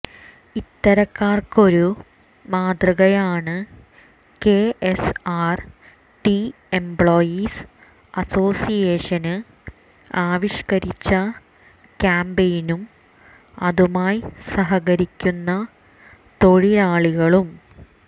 ഇത്തരക്കാര്ക്കൊരു മാതൃകയാണ് K S R T employees association ആവിഷ്കരിച്ച ക്യാമ്പയിനും അതുമായി സഹകരിക്കുന്ന തൊഴിലാളികളും